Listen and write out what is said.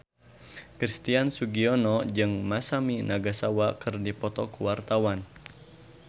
Christian Sugiono jeung Masami Nagasawa keur dipoto ku wartawan